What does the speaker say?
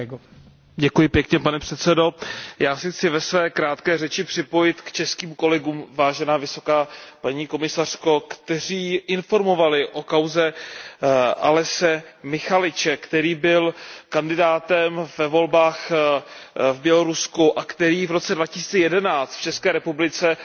Pane předsedající, já se chci ve své krátké řeči připojit k českým kolegům, vážená vysoká paní komisařko, kteří informovali o kauze Aleśe Mihaljeviče, který byl kandidátem ve volbách v Bělorusku a který v roce 2011 v České republice dostal azyl.